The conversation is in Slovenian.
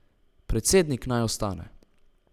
Predsednik naj ostane.